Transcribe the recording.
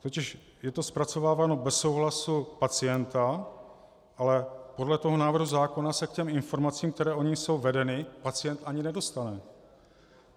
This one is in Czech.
Totiž je to zpracováváno bez souhlasu pacienta, ale podle toho návrhu zákona se k těm informacím, které o nich jsou vedeny, pacient ani nedostane.